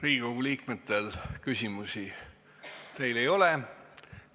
Riigikogu liikmetel küsimusi teile ei ole.